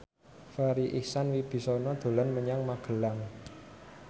Farri Icksan Wibisana dolan menyang Magelang